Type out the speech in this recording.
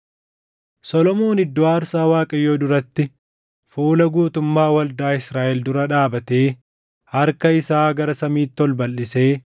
Solomoon iddoo aarsaa Waaqayyoo duratti fuula guutummaa waldaa Israaʼel dura dhaabatee harka isaa gara samiitti ol balʼisee